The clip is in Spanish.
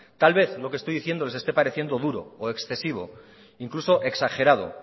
tal vez lo que esté diciendo les esté pareciendo duro o excesivo incluso exagerado